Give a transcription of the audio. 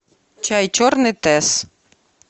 чай черный тесс